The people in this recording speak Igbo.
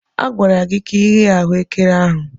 A gwara gị ka ighe ahuekere ahụ.